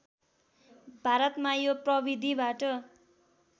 भारतमा यो प्रविधिबाट